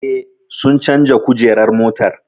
Eh, sun canja kujerar motar